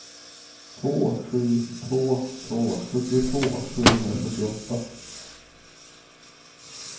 två sju två två sjuttiotvå sjuhundrasjuttioåtta